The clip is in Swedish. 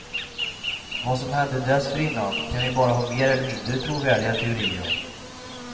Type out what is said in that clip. Vad som hände dessförinnan kan vi bara ha mer eller mindre trovärdiga teorier om.